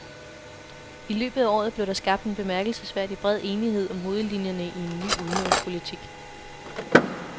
I løbet af året blev der skabt en bemærkelsesværdig bred enighed om hovedlinjerne i en ny udenrigspolitik.